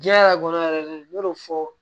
Diɲɛ yɛrɛ kɔnɔ yɛrɛ de n y'o fɔ